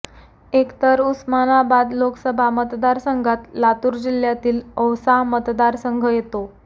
एकतर उस्मानाबाल लोकसभा मतदारसंघात लातूर जिल्ह्यातील औसा मतदारसंघ येतो